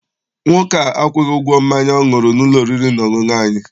Nwoke a akwụghị ụgwọ mmanya ọ ṅụrụ n'ụlọ oriri na ọṅụṅụ anyị.